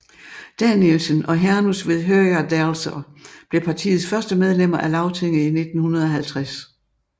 Danielsen og Hanus við Høgadalsá blev partiets første medlemmer af Lagtinget i 1950